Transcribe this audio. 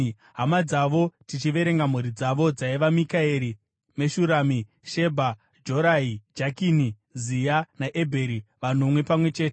Hama dzavo, tichiverenga mhuri dzavo, dzaiva: Mikaeri, Meshurami, Shebha, Jorai, Jakani, Zia naEbheri, vanomwe pamwe chete.